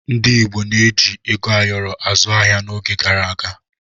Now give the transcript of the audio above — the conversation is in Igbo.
Ndi igbo na-eji ego ayọrọ azụ ahịa n'oge gara aga